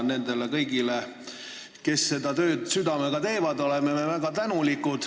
Nendele kõigile, kes seda tööd südamega teevad, oleme väga tänulikud.